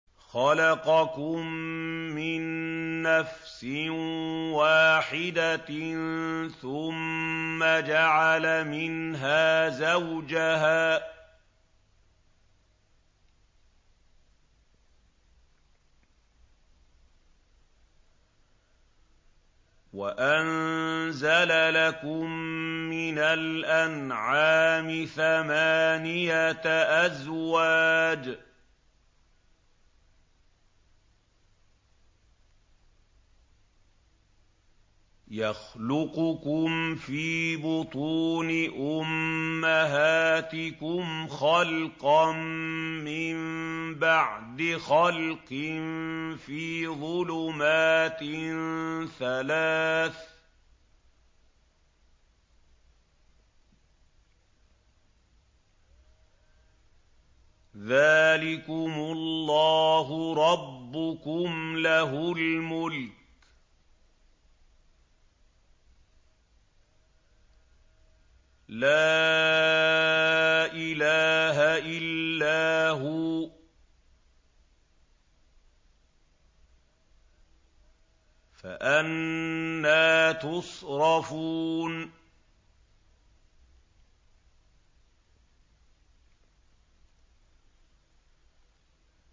خَلَقَكُم مِّن نَّفْسٍ وَاحِدَةٍ ثُمَّ جَعَلَ مِنْهَا زَوْجَهَا وَأَنزَلَ لَكُم مِّنَ الْأَنْعَامِ ثَمَانِيَةَ أَزْوَاجٍ ۚ يَخْلُقُكُمْ فِي بُطُونِ أُمَّهَاتِكُمْ خَلْقًا مِّن بَعْدِ خَلْقٍ فِي ظُلُمَاتٍ ثَلَاثٍ ۚ ذَٰلِكُمُ اللَّهُ رَبُّكُمْ لَهُ الْمُلْكُ ۖ لَا إِلَٰهَ إِلَّا هُوَ ۖ فَأَنَّىٰ تُصْرَفُونَ